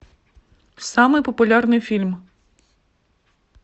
самый популярный фильм